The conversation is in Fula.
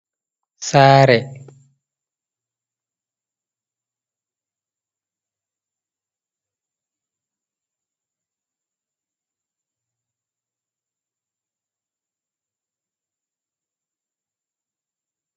saare